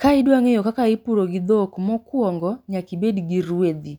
Ka idwa ng'eyo kaka ipuro gi dhok, mokuongo nyaka ibed gi rwedhi,